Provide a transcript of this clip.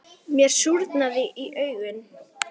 Mér súrnaði í augum.